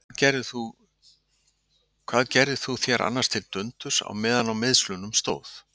Hvað gerðir þú þér annars til dundurs á meðan á meiðslunum stóð?